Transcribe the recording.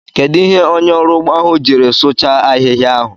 Kedụ ihe onye ọrụ ugbo ahụ jiri sụchaa ahịhịa ahụ?